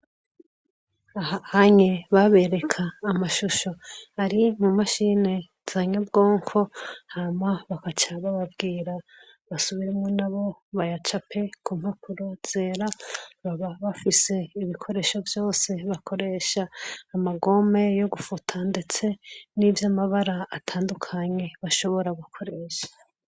Ahanye babereka amashusho ari mu mashini zanyabwonko hama bakacaga babwira basubire mo na bo bayacape ku mpapuro zera baba bafise ibikoresho byose bakoresha amagome yo gufuta ndetse n'ivyamabara atandukanye bashobora gukoresha.